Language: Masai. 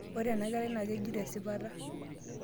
ore ena kerai naa kijito esipata